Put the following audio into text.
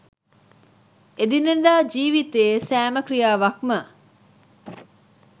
එදිනෙදා ජීවිතයේ සෑම ක්‍රියාවක්ම